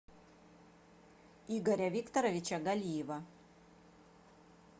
игоря викторовича галиева